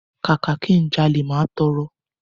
Kàkà ki n jalè, máa tọrọ.